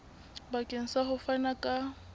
bakeng sa ho fana ka